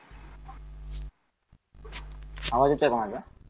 आवाज येतोय का माझा?